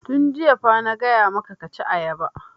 Tun jiya fa na gaya maka ka ci ayaba!